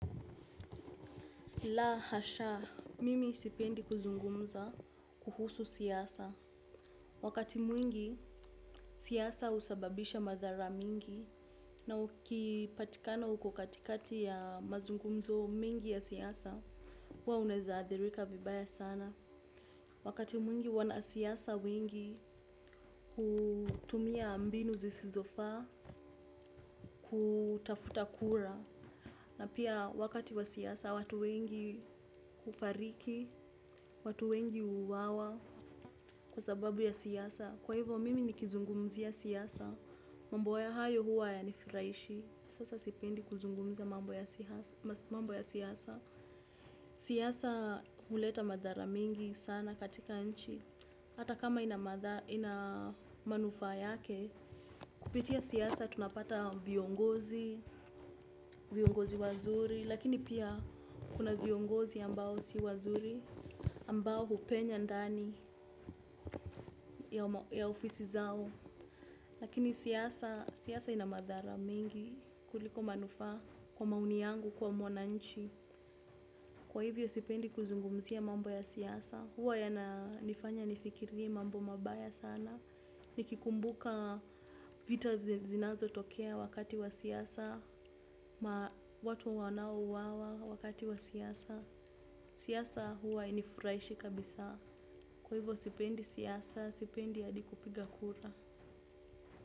La hasha, mimi isipendi kuzungumza kuhusu siasa. Wakati mwingi, siasa usababisha madhara mingi. Na uki patikana uko katikati ya mazungumzo mingi ya siasa, huwa unaeza adhirika vibaya sana. Wakati mwingi wana siyasa wengi hutumia mbinu zisizofaa, kutafuta kura. Na pia wakati wa siasa, watu wengi ufariki, watu wengi uwawa kwa sababu ya siasa. Kwa hivyo, mimi ni kizungumzia siasa. Mambo ya hayo huwa haya nifuraishi. Sasa sipendi kuzungumza mambo ya siasa. Siasa uleta madhara mingi sana katika nchi. Hata kama ina manufaa yake, kupitia siasa tunapata viongozi, viongozi wazuri. Lakini pia kuna viongozi ambao si wazuri, ambao hupenya ndani ya ofisi zao. Lakini siasa ina madhara mingi kuliko manufaa kwa maoni yangu, kwa mwananchi. Kwa hivyo sipendi kuzungumzia mambo ya siasa. Huwa ya nifanya nifikirie mambo mabaya sana. Nikikumbuka vita zinazo tokea wakati wa siasa, watu wanao uwawa wakati wa siasa. Siasa huwa inifurahishi kabisa. Kwa hivo sipendi siyasa, sipendi hadikupiga kura.